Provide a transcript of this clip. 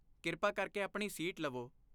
ਕਿਰਪਾ ਕਰਕੇ ਆਪਣੀ ਸੀਟ ਲਵੋ।